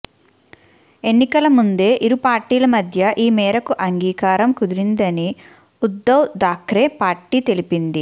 ఎన్నికల ముందే ఇరు పార్టీల మధ్య ఈ మేరకు అంగీకారం కుదిరిందని ఉద్దవ్ థాక్రే పార్టీ తెలిపింది